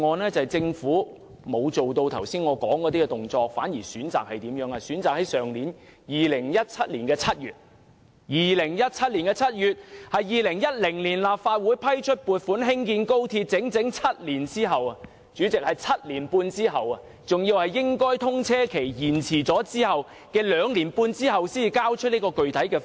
原因是政府沒有採取我剛才提及的行動，反而在2017年7月，即2010年立法會批出撥款興建高鐵整整7年半之後，或原本通車日期延遲兩年半之後，才交出"一地兩檢"具體方案。